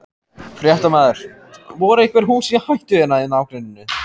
Fréttamaður: Voru einhver hús í hættu hérna í nágrenninu?